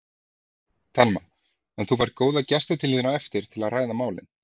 Telma: En þú færð góða gesti til þín á eftir til að ræða málin?